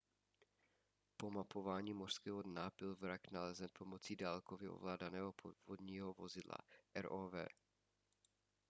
po mapování mořského dna byl vrak nalezen pomocí dálkově ovládaného podvodní vozidla rov